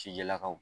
Cijɛlakaw